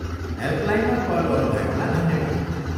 हेल्पलाइनमा call गर्नुभएकोमा धन्यवाद।